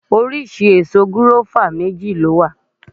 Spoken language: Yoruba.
Oríṣi èso gùáfà méjì ló wà